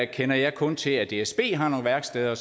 kender jeg kun til at dsb har nogle værksteder